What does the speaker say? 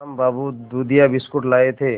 श्याम बाबू दूधिया बिस्कुट लाए थे